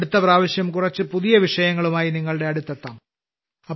അടുത്തപ്രാവശ്യം കുറച്ചു പുതിയ വിഷയങ്ങളുമായി നിങ്ങളുടെ അടുത്തെത്താം